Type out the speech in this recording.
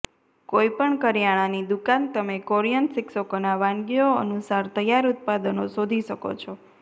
કોઈપણ કરિયાણાની દુકાન તમે કોરિયન શિક્ષકોના વાનગીઓ અનુસાર તૈયાર ઉત્પાદનો શોધી શકો છો